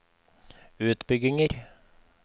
utbygginger